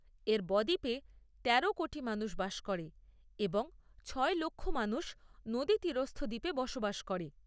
এর ব দ্বীপে তেরো কোটি মানুষ বাস করে এবং ছয় লক্ষ মানুষ নদীতীরস্থ দ্বীপে বসবাস করে।